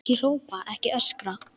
Ekki hrópa, ekki öskra!